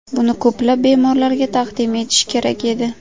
Buni ko‘plab bemorlarga taqdim etish kerak edi.